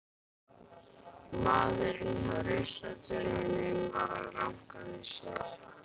Maðurinn hjá ruslatunnunum var að ranka við sér.